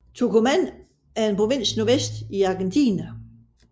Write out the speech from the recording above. Tucumán er en provins nordvest i Argentina